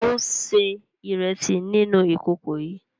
Ṣeun se iresi nínú ìkòkò yii